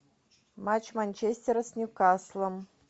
матч манчестера с ньюкаслом